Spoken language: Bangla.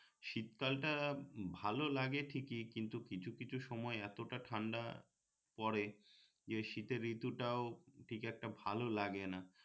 শীতকাল টা ভালো লাগে ঠিকই কিন্ত কিছু কিছু সময় এতটা ঠান্ডা পরে যে শীতের ঋতুটাও ঠিক একটা ভালো লাগে না